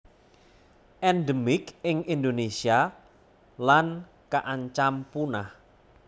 Endemik ing Indonésia lan kaancam punah